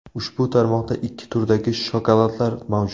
Ushbu tarmoqda ikki turdagi shokoladlar mavjud.